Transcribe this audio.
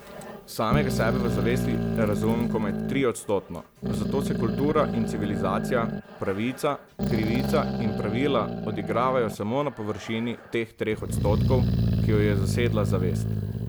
Samega sebe v zavesti razumem komaj triodstotno, zato se kultura in civilizacija, pravica, krivica in pravila odigravajo samo na površini teh treh odstotkov, ki jo je zasedla zavest.